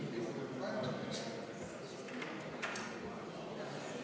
Istungi lõpp kell 11.27.